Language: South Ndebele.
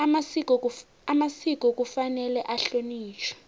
amasiko kufanele ahlonitjhwe